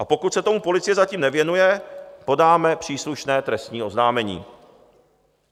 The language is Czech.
A pokud se tomu policie zatím nevěnuje, podáme příslušné trestní oznámení.